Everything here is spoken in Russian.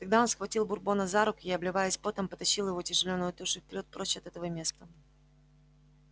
тогда он схватил бурбона за руки и обливаясь потом потащил его тяжеленную тушу вперёд прочь от этого места